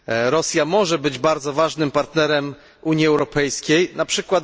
Rosja może być bardzo ważnym partnerem Unii Europejskiej np.